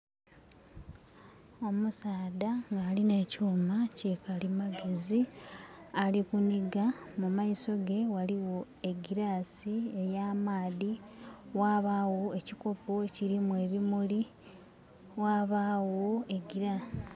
Omusaadha alina ekyuma kya kalimagezi ali kuniga. Mumaiso ge waliwo egilass eya maadhi, wabawo ekikopo ekirimu ekirimu ebimuli